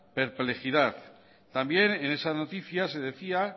perplejidad también en esa noticia se decía